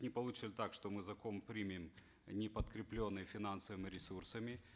не получится ли так что мы закон примем не подкрепленный финансовыми ресурсами